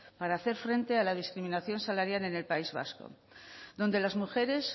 para hacer frente a la discriminación salarial en el país vasco donde las mujeres